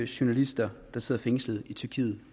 journalister der sidder fængslet i tyrkiet